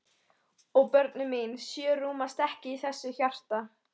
Og börnin mín sjö rúmast ekki í þessu hjarta.